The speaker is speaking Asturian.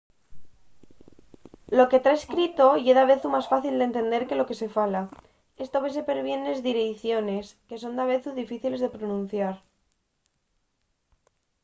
lo que ta escrito ye davezu más fácil d’entender que lo que se fala. esto vese perbién nes direiciones que son davezu difíciles de pronunciar